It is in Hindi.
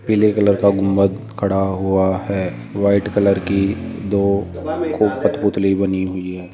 पीले कलर का गुंबद खड़ा हुआ है वाइट कलर की दो खूब कठपुतली बनी हुई है।